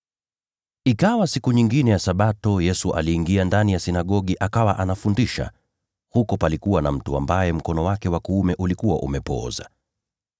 Ikawa siku nyingine ya Sabato, Yesu aliingia ndani ya sinagogi na akawa anafundisha. Huko palikuwa na mtu ambaye mkono wake wa kuume ulikuwa umepooza.